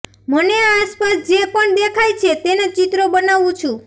મને આસપાસ જે પણ દેખાય છે તેના ચિત્રો બનાવું છું